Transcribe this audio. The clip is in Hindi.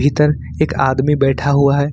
इधर एक आदमी बैठा हुआ है।